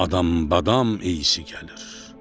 Adam-badam eysi gəlir.